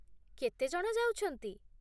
କେତେ ଜଣ ଯାଉଛନ୍ତି?